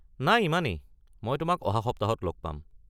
নাই, ইমানেই, মই তোমাক অহা সপ্তাহত লগ পাম।